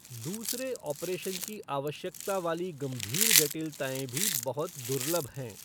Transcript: दूसरे ऑपरेशन की आवश्यकता वाली गंभीर जटिलताएँ भी बहुत दुर्लभ हैं।